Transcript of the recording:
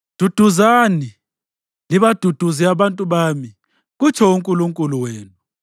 Duduzani, libaduduze abantu bami, kutsho uNkulunkulu wenu.